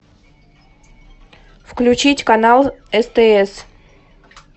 включить канал стс